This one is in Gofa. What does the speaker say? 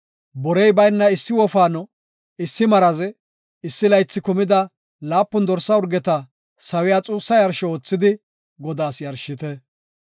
Borey bayna issi wofaano, issi maraze, issi laythi kumida laapun dorsa urgeta sawiya xuussa yarsho oothidi Godaas yarshite.